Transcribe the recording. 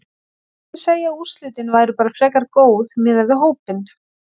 Ég myndi segja að úrslitin væru bara frekar góð miðað við hópinn.